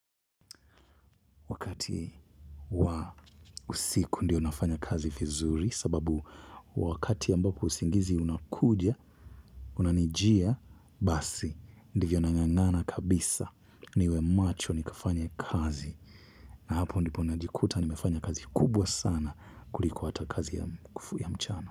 Wakati wa usiku ndio nafanya kazi vizuri sababu wakati ambapo usingizi unakuja unanijia basi ndivyo nangangana kabisa niwe macho nikafanye kazi na hapo ndipo najikuta nimefanya kazi kubwa sana kuliko hata kazi ya mchana.